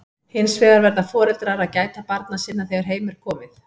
Hins vegar verða foreldrar að gæta barna sinna þegar heim er komið.